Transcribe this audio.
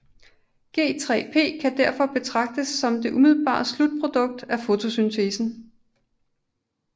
G3P kan derfor betragtes som det umiddelbare slutprodukt af fotosyntesen